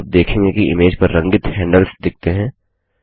आप देखेंगे कि इमेज पर रंगित हैंडल्स दिखतें है